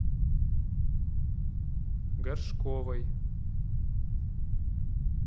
горшковой